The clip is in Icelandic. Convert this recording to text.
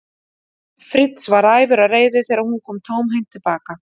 Fritz og varð æfur af reiði þegar hún kom tómhent til baka.